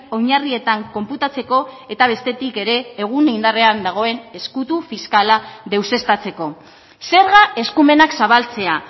oinarrietan konputatzeko eta bestetik ere egun indarrean dagoen ezkutu fiskala deuseztatzeko zerga eskumenak zabaltzea